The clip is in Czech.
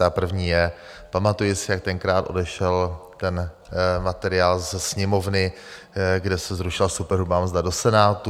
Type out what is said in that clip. Ta první je - pamatuji si, jak tenkrát odešel ten materiál ze Sněmovny, kde se zrušila superhrubá mzda, do Senátu.